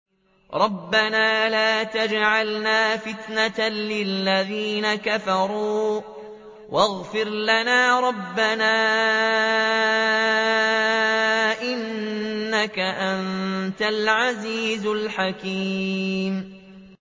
رَبَّنَا لَا تَجْعَلْنَا فِتْنَةً لِّلَّذِينَ كَفَرُوا وَاغْفِرْ لَنَا رَبَّنَا ۖ إِنَّكَ أَنتَ الْعَزِيزُ الْحَكِيمُ